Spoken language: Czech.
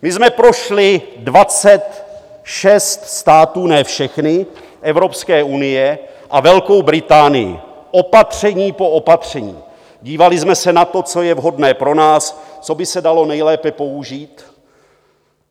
My jsme prošli 26 států - ne všechny - Evropské unie a Velkou Británii opatření po opatření, dívali jsme se na to, co je vhodné pro nás, co by se dalo nejlépe použít.